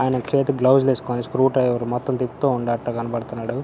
ఆయన చేతికి గ్లోవ్స్ లు వేసుకొని స్క్రూ డ్రైవర్ మొత్తం తిప్పుతూ ఉన్నట్టు గనపడుతున్నాడు.